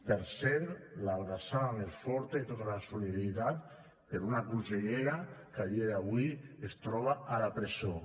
per cert l’abraçada més forta i tota la solidaritat per a una consellera que a dia d’avui es troba a la presó